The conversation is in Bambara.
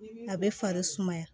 A bɛ fari sumaya